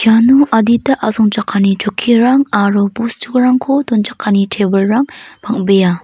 iano adita asongchakani chokkirang aro bosturangko donchakani tebilrang bang·bea.